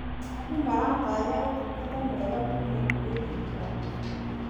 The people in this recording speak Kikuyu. Andũ maratanya ũtungata mwega kuuma kũrĩ thirikari.